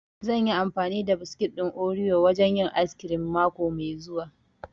Zan yi amfani da biskit ɗin oriyo wurin yin ayis kirim mako mai zuwa